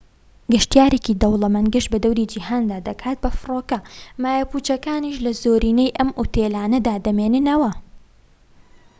گەشتیارێکی دەوڵەمەند گەشت بە دەوری جیهاندا دەکات بە فڕۆکە مایە پوچەکانیش لە زۆرینەی ئەم ئوتێلانەدا دەمێننەوە